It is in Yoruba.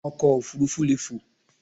Ọkọ̀ òfurufú leè fò